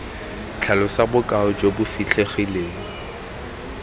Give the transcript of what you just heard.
tlhalosa bokao jo bo fitlhegileng